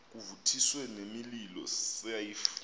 kuvuthiswe nemililo sife